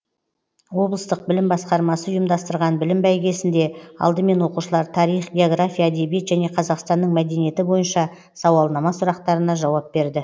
облыстық білім басқармасы ұйымдастырған білім бәйгесінде алдымен оқушылар тарих география әдебиет және қазақстанның мәдениеті бойынша сауалнама сұрақтарына жауап берді